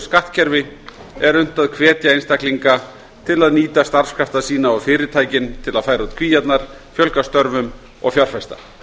skattkerfi er unnt að hvetja einstaklinga til að nýta starfskrafta sína og fyrirtækin til að færa út kvíarnar fjölga störfum og fjárfesta